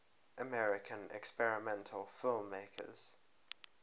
american experimental filmmakers